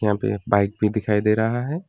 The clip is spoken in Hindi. यहां पे एक बाइक भी दिखाई दे रहा है।